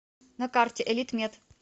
на карте элитмед